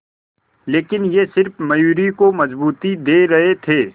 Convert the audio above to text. लेकिन ये सिर्फ मयूरी को मजबूती दे रहे थे